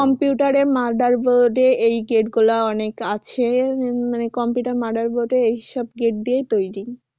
Computer এ motherboard এ এই gate গুলা অনেক আছে মানে computer motherboard এ এইসব gate দিয়েই তৈরি।